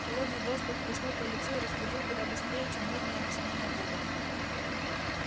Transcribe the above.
холодный воздух хлестнул по лицу и разбудил куда быстрее чем нудные объяснения вуда